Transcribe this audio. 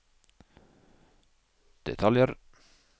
detaljer